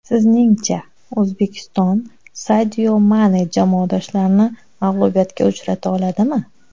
Sizningcha, O‘zbekiston Sadio Mane jamoadoshlarini mag‘lubiyatga uchrata oladimi?